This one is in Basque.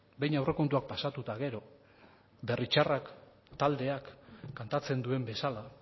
behin aurrekontuak pasatu eta gero berri txarrak taldeak kantatzen duen bezala